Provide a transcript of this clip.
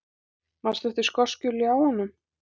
Manstu eftir skosku ljáunum?